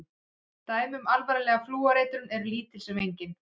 Dæmi um alvarlega flúoreitrun eru lítil sem engin.